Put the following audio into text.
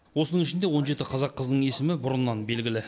осының ішінде он жеті қазақ қызының есімі бұрыннан белгілі